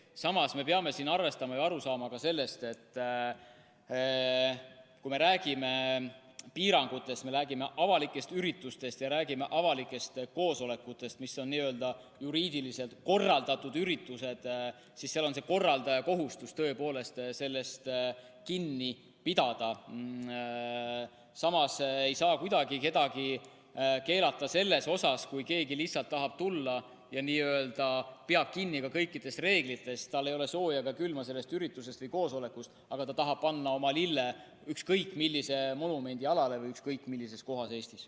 Samas peame siin arvestama seda ja aru saama sellest, et kui me räägime piirangutest, räägime avalikest üritustest ja räägime avalikest koosolekutest, mis on n‑ö juriidiliselt korraldatud üritused, siis korraldaja kohustus on tõepoolest nendest piirangutest kinni pidada, kuid ei saa kuidagi keelata, kui keegi lihtsalt tahab sinna tulla, ta peab kinni ka kõikidest reeglitest, tal ei ole sooja ega külma sellest üritusest või koosolekust, aga ta tahab panna oma lille ükskõik millise monumendi jalamile või ükskõik millisesse kohta Eestis.